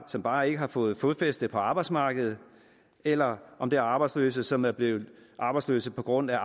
som bare ikke har fået fodfæste på arbejdsmarkedet eller om det er arbejdsløse som er blevet arbejdsløse på grund af